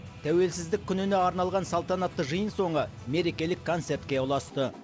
тәуелсіздік күніне арналған салтанатты жиын соңы мерекелік концертке ұласты